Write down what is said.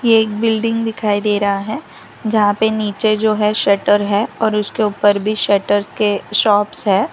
एक बिल्डिंग दिखाई दे रहा है जहां पे नीचे जो है शटर है और उसके ऊपर भी शटरस के शॉप्स हैं।